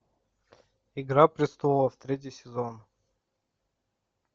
игра престолов третий сезон